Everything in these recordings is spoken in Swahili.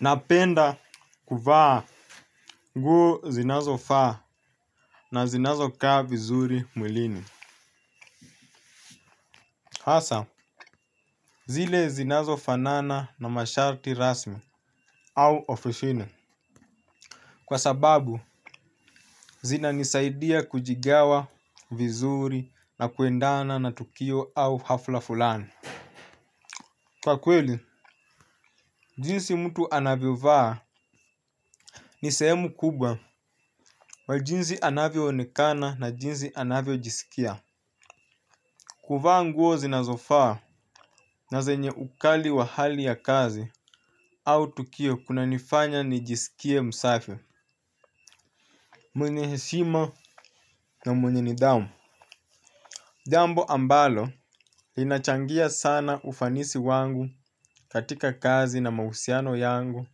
Napenda kuvaa nguo zinazofaa. Na zinazokaa vizuri mwilini. Hasa, zile zinazo fanana na masharti rasmi. Au ofisini kwa sababu, zina nisaidia kujigawa vizuri na kuendana na tukio au hafla fulani. Kwa kweli, jinsi mtu anavyo vaa, ni sehemu kubwa kwa jinsi anavyo onekana na jinsi anavyo jisikia. Kuvaa nguo zinazo faa, na zenye ukali wa hali ya kazi au tukio kuna nifanya nijisikie msafi. Mwenye heshima na mwenye nidhamu. Jambo ambalo linachangia sana ufanisi wangu katika kazi na mahusiano yangu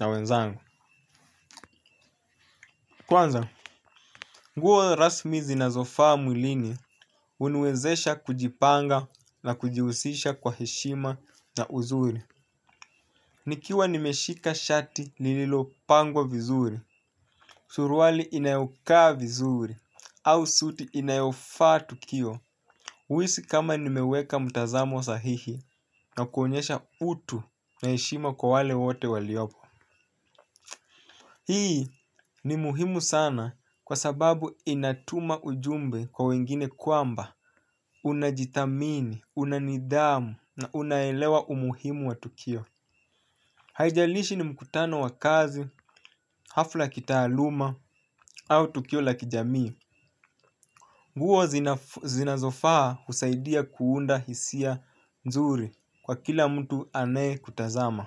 na wenzangu. Kwanza, nguo rasmi zinazo faa mwilini, huniwezesha kujipanga na kujihusisha kwa heshima na uzuri. Nikiwa nimeshika shati lililo pangwa vizuri, suruali inayokaa vizuri, au suti inayofaa tukio, huhisi kama nimeweka mtazamo sahihi na kuonyesha utu na heshima kwa wale wote waliopo. Hii ni muhimu sana kwa sababu inatuma ujumbe kwa wengine kwamba unajithamini, una nidhamu na unaelewa umuhimu wa tukio. Haijalishi ni mkutano wa kazi, hafla ya kitaaluma au tukio la kijamii. Nguo zinazofaa husaidia kuunda hisia nzuri kwa kila mtu anae kutazama.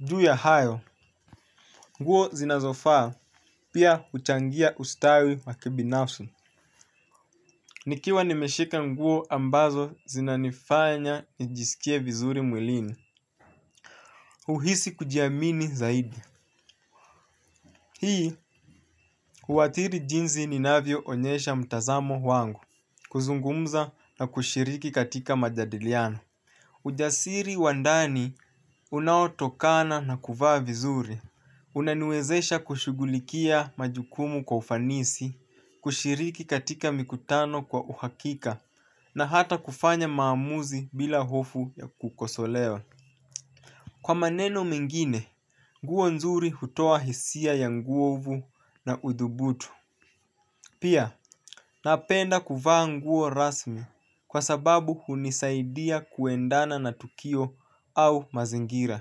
Juu ya hayo, nguo zinazofaa pia huchangia ustawi wa kibinafsi. Nikiwa nimeshika nguo ambazo zinanifanya nijisikie vizuri mwilini. Huhisi kujiamini zaidi. Hii, huathiri jinsi ninavyo onyesha mtazamo wangu kuzungumza na kushiriki katika majadiliano. Ujasiri wa ndani unaotokana na kuvaa vizuri. Unaniwezesha kushughulikia majukumu kwa ufanisi, kushiriki katika mikutano kwa uhakika na hata kufanya maamuzi bila hofu ya kukosolewa. Kwa maneno mengine, nguo nzuri hutoa hisia ya nguvu na udhubutu. Pia, napenda kuvaa nguo rasmi kwa sababu hunisaidia kuendana na tukio au mazingira.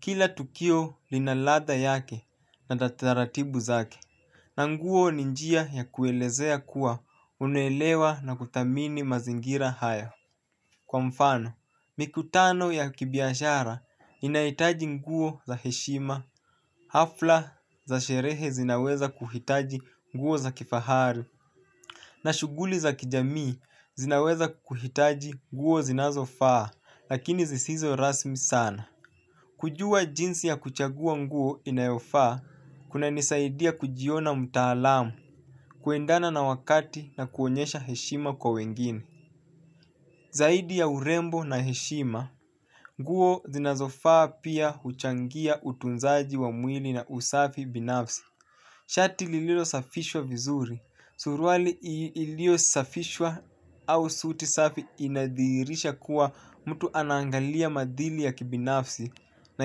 Kila tukio lina ladha yake na taratibu zake. Na nguo ni njia ya kuelezea kuwa unaelewa na kuthamini mazingira hayo. Kwa mfano, mikutano ya kibiashara inahitaji nguo za heshima. Hafla za sherehe zinaweza kuhitaji nguo za kifahari. Na shughuli za kijamii zinaweza kuhitaji nguo zinazo faa, lakini zisizo rasmi sana. Kujua jinsi ya kuchagua nguo inayofaa, kuna nisaidia kujiona mtaalamu, kuendana na wakati na kuonyesha heshima kwa wengine. Zaidi ya urembo na heshima, nguo zinazo faa pia huchangia utunzaji wa mwili na usafi binafsi. Shati lililo safishwa vizuri, suruali ilio safishwa au suti safi inadhihirisha kuwa mtu anaangalia maadili ya kibinafsi na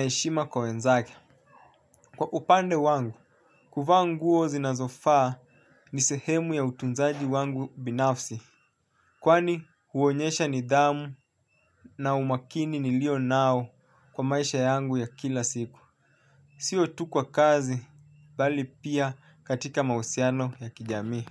heshima kwa wenzake. Kwa upande wangu, kuvaa nguo zinazofaa ni sehemu ya utunzaji wangu binafsi. Kwani huonyesha nidhamu na umakini nilio nao kwa maisha yangu ya kila siku. Sio tu kwa kazi bali pia katika mahusiano ya kijamii.